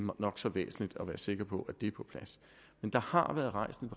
nok så væsentligt at være sikker på at det er på plads men der har været rejst en